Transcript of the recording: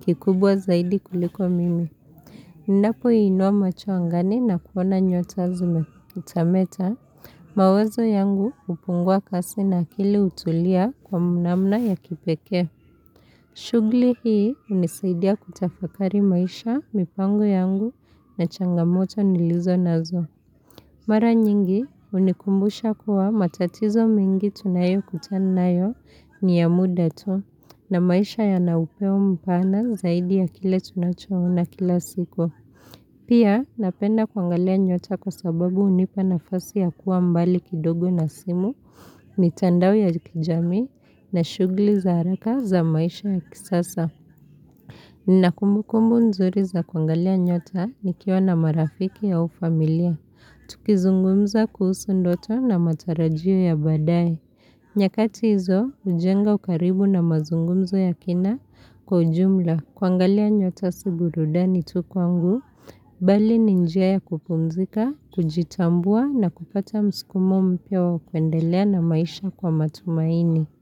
kikubwa zaidi kuliko mimi. Ninapoinua macho angani na kuona nyota zikimetameta. Mawazo yangu hupungua kasi na akili hutulia kwa namna ya kipekee. Shughuli hii hunisaidia kutafakari maisha, mipango yangu, na changamoto nilizonazo. Mara nyingi hunikumbusha kuwa matatizo mingi tunayokutanayo ni ya muda tu, na maisha yanaupeo mpana zaidi ya kile tunachoona kila siku. Pia, napenda kuangalia nyota kwa sababu hunipa nafasi ya kuwa mbali kidogo na simu, mitandao ya kijami, na shughuli za haraka za maisha ya kisasa. Ninakumukumbu nzuri za kuangalia nyota nikiwa na marafiki au familia. Tukizungumza kuhusu ndoto na matarajio ya badaaye. Nyakati hizo hujenga ukaribu na mazungumzo ya kina kwa ujumla. Kuangalia nyota si burudani tu kwangu, bali ni njia ya kupumzika, kujitambua, na kupata msikumo mpya wa kuendelea na maisha kwa matumaini.